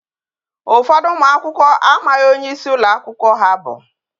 Ụfọdụ ụmụ akwụkwọ amaghi onye isi ụlọ akwụkwọ ha bụ.